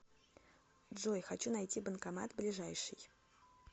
джой хочу найти банкомат ближайший